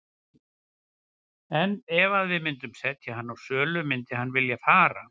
En ef að við myndum setja hann á sölu myndi hann vilja fara?